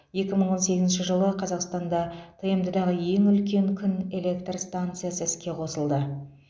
екі мың он сегізінші жылы қазақстанда тмд дағы ең үлкен күн электр станциясы іске қосылды